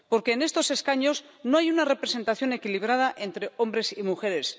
Porque en estos escaños no hay una representación equilibrada entre hombres y mujeres